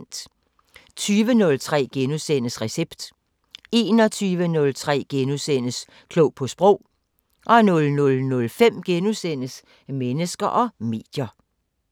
20:03: Recept * 21:03: Klog på sprog * 00:05: Mennesker og medier *